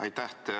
Aitäh!